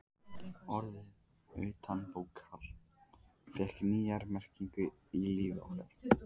Orðið utanbókar fékk nýja merkingu í lífi okkar.